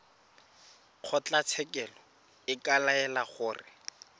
kgotlatshekelo e ka laela gore